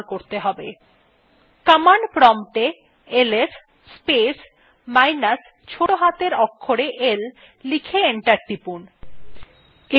command প্রম্পটএ ls space minus ছোটো হাতের অক্ষরে l লিখে enter টিপুন